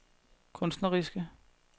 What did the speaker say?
kunstneriske